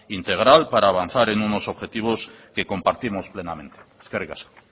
integral para avanzar en unos objetivos que compartimos plenamente eskerrik asko